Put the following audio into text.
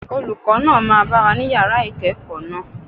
Olùkọ́ náà máa bá wa ní Yàrá ìkẹ́ẹ̀kọ̀ náà.